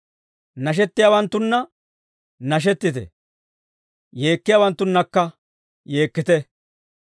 Nashettiyaawanttunna nashettite; yeekkiyaawanttunnakka yeekkite.